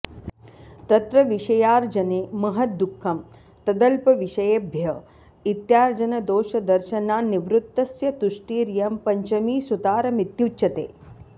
तत्र विषयार्जने महद्दुःखं तदल्पविषयेभ्य इत्यार्जनदोषदर्शनान्निवृत्तस्य तुष्टिरियं पञ्चमी सुतारमित्युच्यते